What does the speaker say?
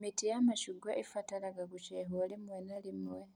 Mĩtĩ ya macungwa ĩbataraga gũcehwo rĩmwe na rĩmwe